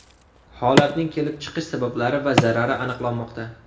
Holatning kelib chiqish sabablari va zarari aniqlanmoqda.